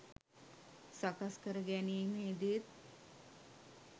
සකස් කර ගැනීමෙහිදීත්